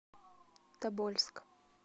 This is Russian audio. тобольск